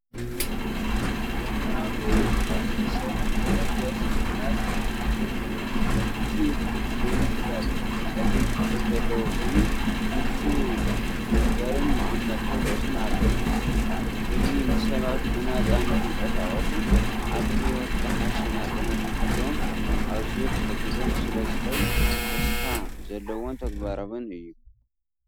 ዘመናዊ ብኤሌክትሪክ እትሰርሕ ዓረብያ ስንኩላን እያ። እቲ መንበር ጸሊም ሕብሪ ዘለዎ ኮይኑ፡ ምቹእ መንበርን መቐመጢ ርእስን ኣለዎ። እዚ ንሰባት ብናጻ ንኽንቀሳቐሱን ኣብ ህይወት ዝሓሸ ናጽነት ንኽህልዎምን ኣዝዩ ክሕግዞም ስለ ዝኽእል ተስፋ ዘለዎን ተግባራውን እዩ።